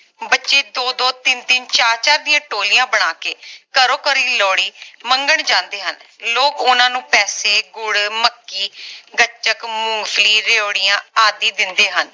ਬੱਚੇ ਦੋ ਦੋ ਤਿੰਨ ਤਿੰਨ ਚਾਰ ਚਾਰ ਦੀਆਂ ਟੋਲੀਆਂ ਬਣਾ ਕੇ ਘਰੋਂ ਘਰਿ ਲੋਹੜੀ ਮੰਗਣ ਜਾਂਦੇ ਹਨ ਲੋਕ ਓਹਨਾ ਨੂੰ ਪੈਸੇ ਗੁੜ ਮੱਕੀ ਗੱਚਕ ਮੂੰਗਫਲੀ ਰੇਵੜੀਆਂ ਆਦਿ ਦਿੰਦੇ ਹਨ